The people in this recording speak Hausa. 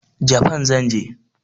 Japan zan je.